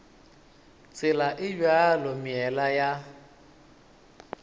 tsela e bjalo meela ya